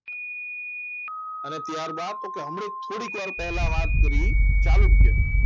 અને ત્યારબાદ તો કે હમણાં થોડીક વાર પહેલા વાત કરી ચાલુ કે ક્યાં ક્યાં ચાલુક્ય